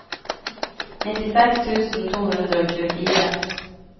nittiseks tusen to hundre og tjuefire